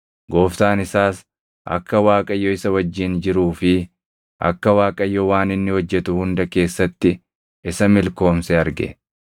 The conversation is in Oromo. Gooftaan isaas akka Waaqayyo isa wajjin jiruu fi akka Waaqayyo waan inni hojjetu hunda keessatti isa milkoomse arge;